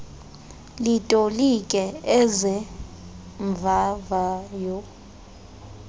litolike eze mvavayo